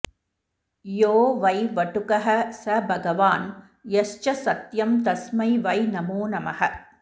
यो वै वटुकः स भगवान् यश्च सत्यं तस्मै वै नमो नमः